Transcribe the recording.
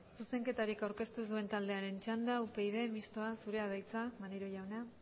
zuzenketari aurkeztu ez duen taldearen txanda upyd mistoa zurea da hitza maneiro jauna